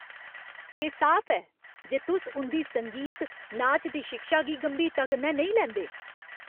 एह् साफ ऐ जे तुस उं'दी संगीत, नाच दी शिक्षा गी गंभीरता कन्नै नेईं लैंदे।